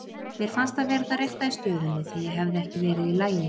Mér fannst það vera það rétta í stöðunni, því ég hefði ekki verið í lagi.